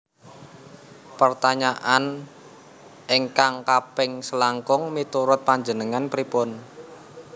Pertanyaan ingkang kaping selangkung miturut panjenengan pripun